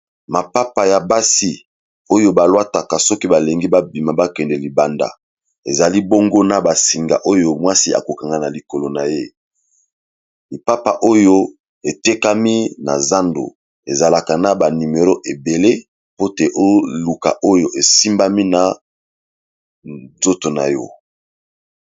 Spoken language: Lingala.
Mapapa ya basi oyo balwataka soki balingi babima bakende libanda ezali bongo na basinga oyo mwasi akokanga na likolo na ye lipapa oyo etekami na zando ezalaka na banimero ebele po te oluka oyo esimbami na nzoto na yo.